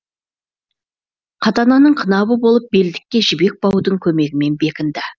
қатананың қынабы болып белдікке жібек баудың көмегімен бекінді